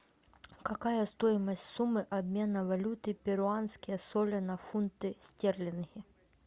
какая стоимость суммы обмена валюты перуанские соли на фунты стерлинги